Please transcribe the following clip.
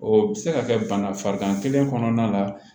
O bɛ se ka kɛ bana farikan kelen kɔnɔna la